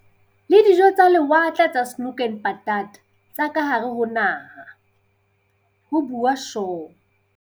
"le dijo tsa lewatle tsa 'Snoek en Patat' tsa kahare ho naha," ho bua Shaw.